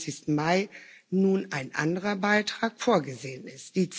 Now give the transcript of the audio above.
27. Mai nun ein anderer Beitrag vorgesehen ist.